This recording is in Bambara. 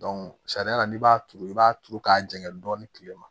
sariya la n'i b'a turu i b'a turu k'a jɛgɛn dɔɔni kilema